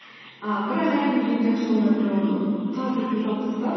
ііі бірақ әрине ең жақсы жолдарының бірі оны тарс еткізіп жауып тастау